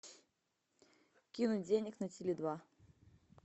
кинуть денег на теле два